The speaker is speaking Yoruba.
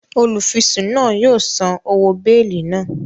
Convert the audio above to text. Olufisun náà yóò sàn òwò beeli náà